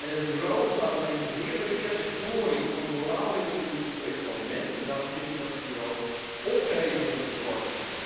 Het bureau bestaat alleen ter meerdere eer en glorie van de moraalridders in het Europees Parlement en daarom vind ik dat het bureau opgeheven zou moeten worden.